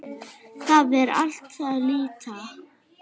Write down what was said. Það er allt það létta.